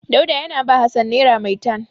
Dauda yana ba Hassan nera maitan.